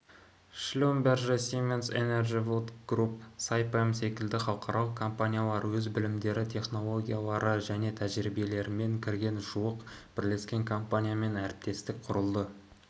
шлюмберже сименс энерджи вуд групп сайпем секілді халықаралық компаниялар өз білімдері технологиялары және тәжірибелерімен кірген жуық бірлескен компаниямен әріптестік құрылды